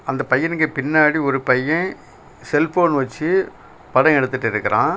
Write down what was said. அந்த பையனுக்கு பின்னாடி ஒரு பையன் செல்ஃபோன் வச்சி படம் எடுத்துட்டு இருக்குறான்.